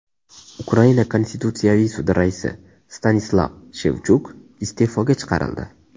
Ukraina Konstitutsiyaviy sudi raisi Stanislav Shevchuk iste’foga chiqarildi.